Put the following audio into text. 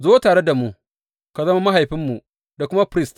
Zo tare da mu, ka zama mahaifinmu da kuma firist.